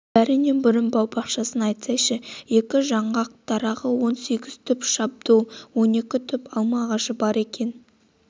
бәрінен бұрын бау-бақшасын айтсайшы екі жаңғақ дарағы он сегіз түп шабдол он екі түп алма ағашы бар екен